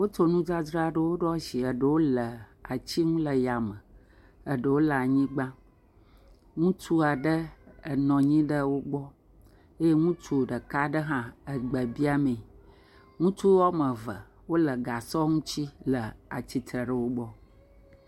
Wotsɔ nudzadzraɖewo ɖo asi eɖewo le etsim le yame, ɖewo le anyigba, ŋutsu aɖe enɔ anyi ɖe wo gbɔ, ye ŋutsu ɖeka aɖe hã egbe biam mee. Ŋutsu woame eve wole gasɔ ŋuti le atsitre ɖe wo gbɔ.